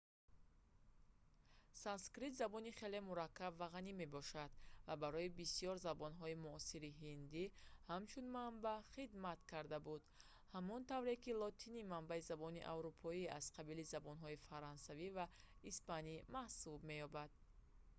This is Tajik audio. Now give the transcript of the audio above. санскрит забони хеле мураккаб ва ғанӣ мебошад ва барои бисёр забонҳои муосири ҳиндӣ ҳамчун манбаъ хидмат карда буд ҳамон тавре ки лотинӣ манбаи забонҳои аврупоӣ аз қабили забонҳои фаронсавӣ ва испанӣ маҳсуб меёбад